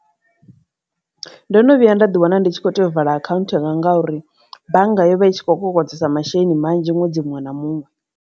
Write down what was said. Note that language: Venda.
Ndo no vhuya nda ḓi wana ndi tshi kho tea u vala akhanthu yanga ngauri bannga yo vha i tshi khou kokodzesa masheleni manzhi nwedzi muṅwe na muṅwe.